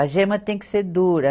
A gema tem que ser dura.